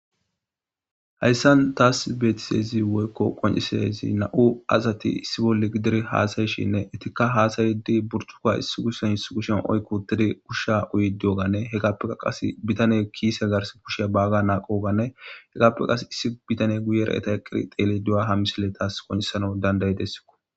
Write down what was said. Haysan taasi betizaysi woyko qoncizays nam'u asati issi bolli gidid hasa'ishenne etika hasa'ishe buricuka issi kushan issi kushan oyki utidi usha uyidi diyoganne qase bitaney kise garsi kusha Baga maqoganne izappe qase issi bitaney guyera eeta eqidi xeelido diyoga ha misiley tasi qoncisanaw danda'idesko.